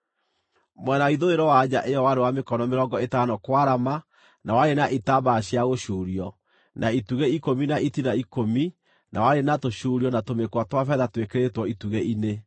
Mwena wa ithũĩro wa nja ĩyo warĩ wa mĩkono mĩrongo ĩtano kwarama na warĩ na itambaya cia gũcuurio, na itugĩ ikũmi na itina ikũmi na warĩ na tũcuurio na tũmĩkwa twa betha twĩkĩrĩtwo itugĩ-inĩ.